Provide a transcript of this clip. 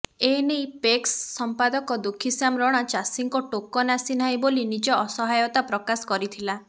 ଏନେଇ ପେକ୍ସ ସମ୍ପାଦକ ଦୁଃଖିଶ୍ୟାମ ରଣା ଚାଷୀଙ୍କ ଟୋକନ ଆସି ନାହିଁ ବୋଲି ନିଜ ଅସହାୟତା ପ୍ରକାଶ କରିଥିଲା